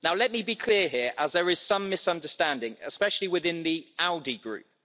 Let me be clear here as there is some misunderstanding, especially within the ALDE Group.